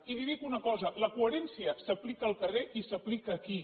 i li dic una cosa la coherència s’aplica al carrer i s’aplica aquí